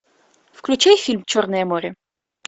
включай фильм черное море